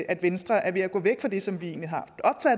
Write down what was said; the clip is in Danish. at venstre er ved at gå væk fra det som vi egentlig